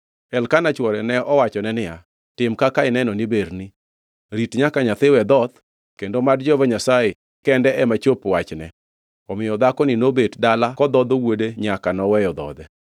Elkana chwore ne owachone niya, “Tim kaka ineno ni berni. Rit nyaka nyathi we dhoth kendo mad Jehova Nyasaye kende ema chop wachne.” Omiyo dhakoni nobet dala kodhodho wuode nyaka noweyo dhodhe.